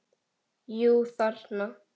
Jú, þarna!